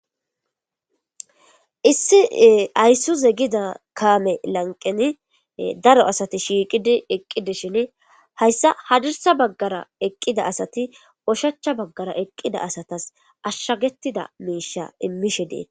Issi ayissuze gida kaame lanqeni daro asati shiiqidi eqqidi shin hayssa hadirsa baggara eqqida asati oshacha baggara eqqida asatas ashshagettida miisha immishe dee..